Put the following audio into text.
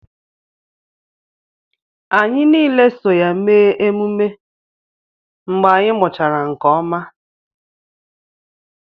Anyị niile so ya mee ememme mgbe anyị mụchara nke ọma